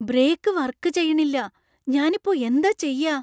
Brake work ചെയ്യണില്ല, ഞാനിപ്പോ എന്താ ചെയ്യാ?